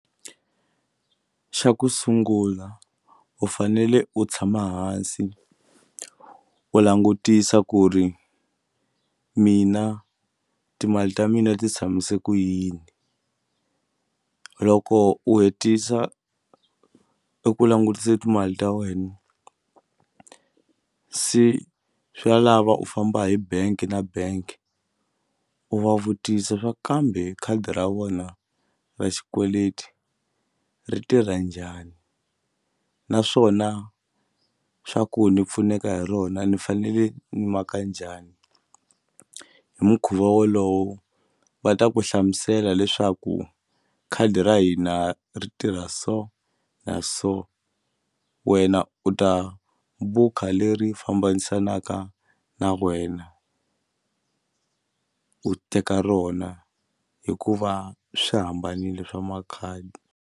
Xa ku sungula u fanele u tshama hansi u langutisa ku ri mina timali ta mina ti tshamise ku yini loko u hetisa i ku langutisa timali ta wena se swa lava u famba hi bank na bank u va vutisa swa kambe khadi ra vona ra xikweleti ri tirha njhani naswona swa ku ni pfuneka hi rona ni fanele ni maka njhani hi mukhuva wolowo va ta ku hlamusela leswaku khadi ra hina ri tirha so na so wena u ta bukha leri fambanisanaka na wena u teka rona hikuva swi hambanile swa makhadi.